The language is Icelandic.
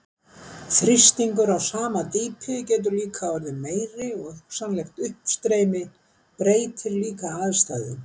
Þrýstingur á sama dýpi getur líka orðið meiri og hugsanlegt uppstreymi breytir líka aðstæðum.